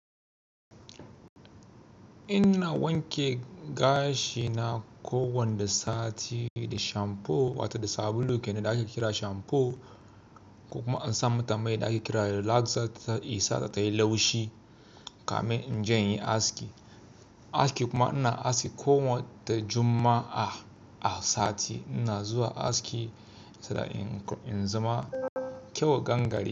Inna wanke gashi na kowanne sati da shamfo wato da sabulu kenan da ake kira shamfo, ko kuma in sa mata mai da ake kira da relaxer ze sata tayi laushi. Kamin inje inyi aski. Aski kuma ina aski kowanne juma'a sati ina zuwa aski saboda in zama kyawawan gani.